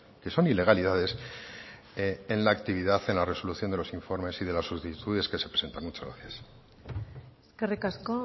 que son ilegalidades en la actividad en la resolución de los informes y de las solicitudes que se presentan muchas gracias eskerrik asko